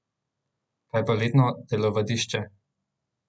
Kaj pa letno telovadišče?